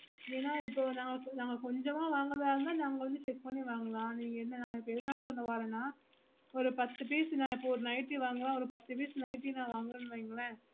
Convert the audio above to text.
இல்லனா இப்போ நாங்க கொஞ்சமா வாங்கறதா இருந்த நாங்க வந்து check பண்ணி வாங்கலாம் இப்போ ந என்ன சொல்லவரென ஒரு பத்து piece ந ஒரு nightly வாங்குறேனா ஒரு பத்து piece nightly ந வாங்குறேன் வைங்களே